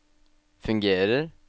fungerer